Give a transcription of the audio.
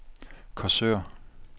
Korsør